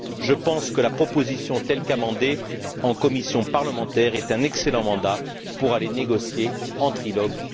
Je pense que la proposition telle qu'amendée en commission parlementaire est un excellent mandat pour aller négocier en trilogue.